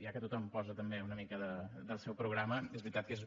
ja que tothom hi posa també una mica del seu programa és veritat que